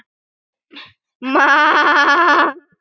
Lárus var góður maður.